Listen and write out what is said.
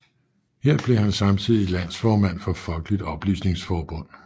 Her blev han samtidig landsformand for Folkeligt Oplysningsforbund